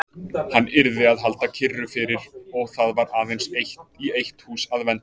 Hann yrði að halda kyrru fyrir og það var aðeins í eitt hús að venda.